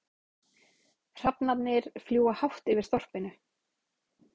Hrafnarnir fljúga hátt yfir þorpinu.